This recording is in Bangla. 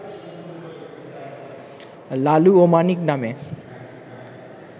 লালু ও মানিক নামে